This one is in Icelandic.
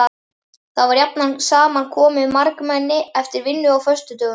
Þar var jafnan saman komið margmenni eftir vinnu á föstudögum.